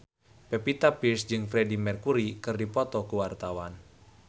Pevita Pearce jeung Freedie Mercury keur dipoto ku wartawan